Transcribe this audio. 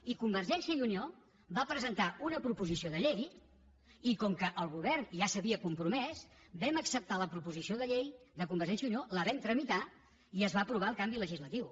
i convergència i unió va presentar una proposició de llei i com que el govern ja s’hi havia compromès vam acceptar la proposició de llei de convergència i unió la vam tra·mitar i es va aprovar el canvi legislatiu